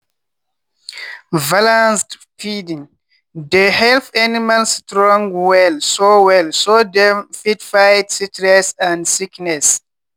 balanced feeding dey help animal strong well so well so dem fit fight stress and sickness.